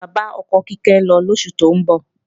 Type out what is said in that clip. Bàbá ọkọ Kíkẹ́ ń lọ lóṣù tó ń bọ̀